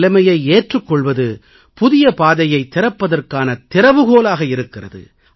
நிலைமையை ஏற்றுக் கொள்வது புதிய பாதையைத் திறப்பதற்கான திறவுகோலாக இருக்கிறது